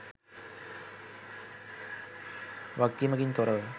වගකීමකින් තොර ව